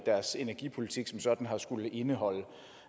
deres energipolitik som sådan har skullet indeholde